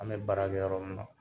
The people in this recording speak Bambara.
An bɛ baara kɛ yɔrɔ min na